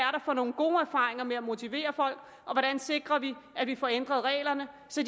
for nogen gode erfaringer med at motivere folk og hvordan sikrer vi at vi får ændret reglerne så